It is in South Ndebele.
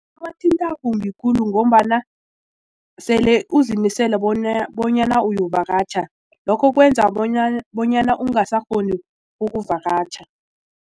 kumbi khulu ngombana sele uzimisele bonyana uyokuvakatjha lokho kwenza bonyana ungasakghoni ukuvakatjha.